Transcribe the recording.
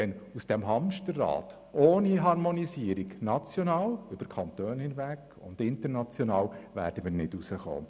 Ohne nationale und internationale Harmonisierung werden wir nicht aus diesem Hamsterrad herauskommen.